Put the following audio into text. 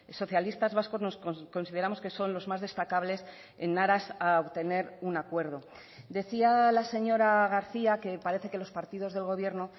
socialistas vascos consideramos que son los más destacables en aras a obtener un acuerdo decía la señora garcía que parece que los partidos del gobierno